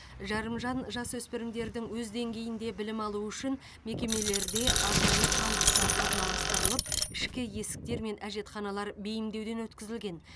жарымжан жасөспірімдердің өз деңгейінде білім алуы үшін мекемелерде арнайы пандустар орналастырылып ішкі есіктер мен әжетханалар бейімдеуден өткізілген